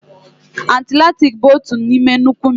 Atilantiki bụ otu n'ime nnukwu mmiri.